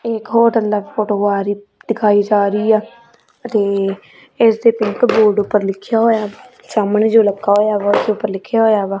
ਇੱਕ ਹੋਰ ਅੰਦਰ ਫੋਟੋ ਆ ਰਹੀ ਦਿਖਾਈ ਜਾ ਰਹੀ ਆ ਤੇ ਇਸ ਦੇ ਪਿੰਕ ਬੋਰਡ ਉੱਪਰ ਲਿਖਿਆ ਹੋਇਆ ਸਾਹਮਣੇ ਜੋ ਲੱਗਾ ਹੋਇਆ ਉਸ ਉਪਰ ਲਿਖਿਆ ਹੋਇਆ ਵਾ।